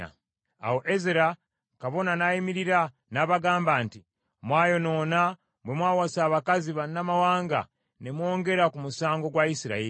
Awo Ezera kabona n’ayimirira n’abagamba nti, “Mwayonoona bwe mwawasa abakazi bannamawanga ne mwongera ku musango gwa Isirayiri.